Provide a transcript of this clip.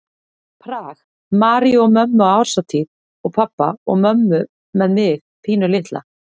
Prag, Maríu og mömmu á árshátíð og pabba og mömmu með mig pínulitla.